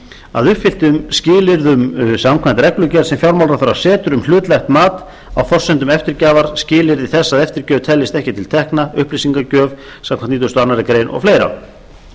að uppfylltum skilyrðum samkvæmt reglugerð sem fjármálaráðherra setur um hlutlægt mat á forsendum eftirgjafar skilyrði þess að eftirgjöf teljist ekki til tekna upplýsingagjöf samkvæmt nítugasta og annarrar